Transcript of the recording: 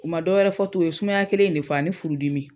U ma dɔ wɛrɛ fɔ tun , u ye sumaya kelen in de fɔ ani furu dimi.